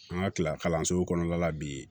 An ka kila kalanso kɔnɔna la bi